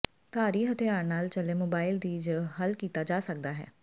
ਧਾਰੀ ਹਥਿਆਰ ਨਾਲ ਚੱਲੇ ਮੋਬਾਈਲ ਦੀ ਜ ਹੱਲ ਕੀਤਾ ਜਾ ਸਕਦਾ ਹੈ